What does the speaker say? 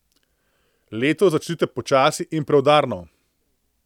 Leto začnite počasi in preudarno.